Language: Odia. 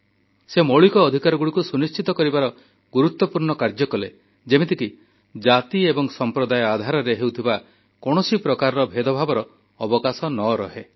ସେ ମୌଳିକ ଅଧିକାରଗୁଡ଼ିକୁ ସୁନିଶ୍ଚିତ କରିବାର ଗୁରୁତ୍ୱପୂର୍ଣ୍ଣ କାର୍ଯ୍ୟ କଲେ ଯେମିତି କି ଜାତି ଏବଂ ସମ୍ପ୍ରଦାୟ ଆଧାରରେ ହେଉଥିବା କୌଣସି ପ୍ରକାର ଭେଦଭାବର ଅବକାଶ ନ ରହେ